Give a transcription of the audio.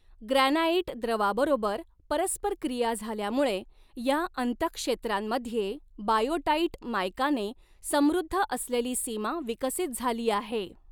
Granite द्रवाबरोबर परस्परक्रिया झाल्यामुळे, या अंतहक्षेत्रांमध्ये बायोटाईट मायकाने समृद्ध असलेली सीमा विकसित झाली आहे.